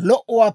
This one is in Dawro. dosaasa.